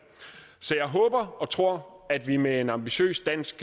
så jeg håber og tror at vi med en ambitiøs dansk